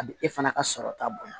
A bɛ e fana ka sɔrɔ ta bonya